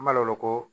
An b'a lo koo